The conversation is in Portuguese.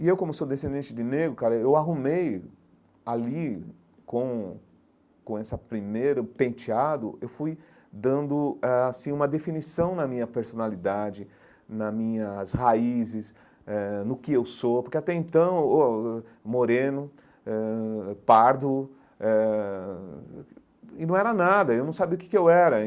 E eu, como sou descendente de negro, cara eu arrumei ali, com com essa primeiro penteado, eu fui dando ãh assim uma definição na minha personalidade, na minhas raízes eh, no que eu sou, porque até então oh moreno ãh, pardo eh, e não era nada, eu não sabia o que que eu era.